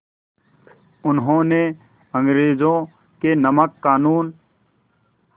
उन्होंने अंग्रेज़ों के नमक क़ानून